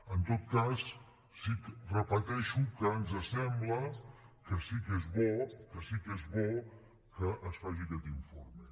en tot cas repeteixo que ens sembla que sí que és bo que sí que és bo que es faci aquest informe